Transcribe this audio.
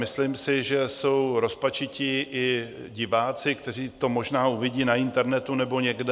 Myslím si, že jsou rozpačití i diváci, kteří to možná uvidí na internetu nebo někde.